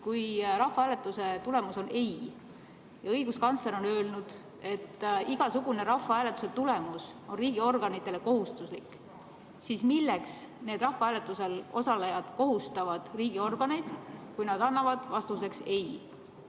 Kui rahvahääletuse tulemus on ei ja õiguskantsler on öelnud, et igasugune rahvahääletuse tulemus on riigiorganitele kohustuslik, siis milleks need rahvahääletusel osalejad kohustavad riigiorganeid, kui nad annavad vastuseks ei?